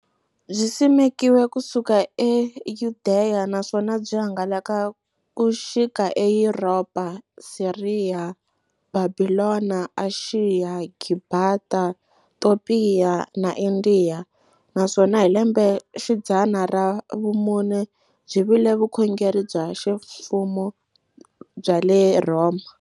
Byisimekiwe ku suka eYudeya, naswona byi hangalake ku xika eYuropa, Siriya, Bhabhilona, Ashiya, Gibhita, Topiya na Indiya, naswona hi lembexidzana ra vumune byi vile vukhongeri bya ximfumo bya le Rhoma.